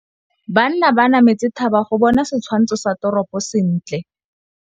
Banna ba nametse thaba go bona setshwantsho sa toropô sentle.